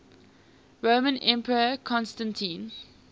roman emperor constantine